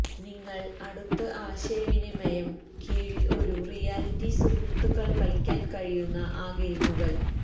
നിങ്ങൾ അടുത്ത ആശയവിനിമയം കീഴിൽ ഒരു റിയാലിറ്റി സുഹൃത്തുക്കൾ കളിക്കാൻ കഴിയുന്ന ആ ഗെയിമുകൾ